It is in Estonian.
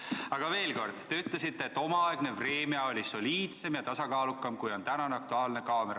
Aga veel kord: te olete öelnud, et omaaegne "Vremja" oli soliidsem ja tasakaalukam, kui on tänane "Aktuaalne kaamera".